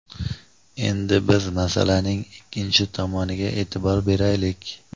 Endi biz masalaning ikkinchi tomoniga e’tibor beraylik.